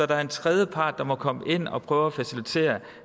der er en tredje part der må komme ind og prøve at facilitere